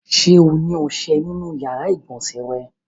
Ṣé ó ní ọṣẹ nínú ìyàrá-ìgbọ̀nsẹ̀ rẹ?